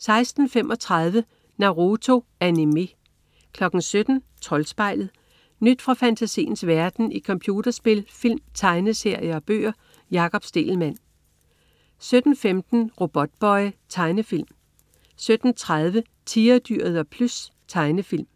16.35 Naruto. Animé 17.00 Troldspejlet. Nyt fra fantasiens verden i computerspil, film, tegneserier og bøger. Jakob Stegelmann 17.15 Robotboy. Tegnefilm 17.30 Tigerdyret og Plys. Tegnefilm